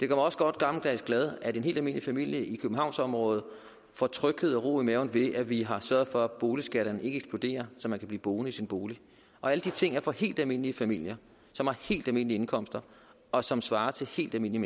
mig også godt gammeldags glad at en helt almindelig familie i københavnsområdet får tryghed og ro i maven ved at vi har sørget for at boligskatterne ikke eksploderer så man kan blive boende i sin bolig alle de ting er for helt almindelige familier som har helt almindelige indkomster og som svarer til helt almindelige